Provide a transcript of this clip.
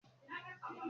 Ìgbà wo lo máa múra tán?